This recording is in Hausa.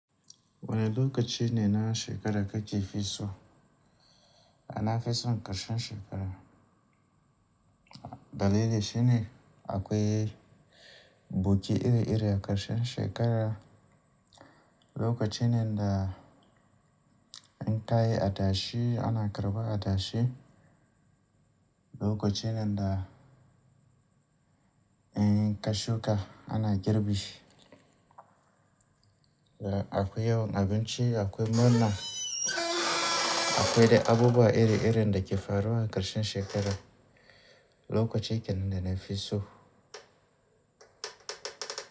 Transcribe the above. Wane lokaci ne na shekara kake fi so? Na fi son ƙarshen shekara. Dalili shine akwai buki iri-iri a ƙarshen shekara, lokaci ne da in kayi adashi ana karbar adashi, lokaci ne da in kashuka ana girbi, akwai yawon abinci, akwai murna, akwai dai abubuwa iri-iri da ke faruwa a ƙarshen shekara, lokaci kenan da na fi so.